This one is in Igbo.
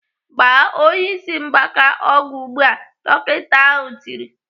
"Gbaa onye ịsị mgbaka ọgwụ ugbu a!" Dọkịta ahụ tiri.